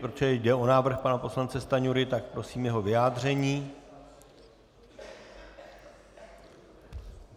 Protože jde o návrh pana poslance Stanjury, tak prosím jeho vyjádření.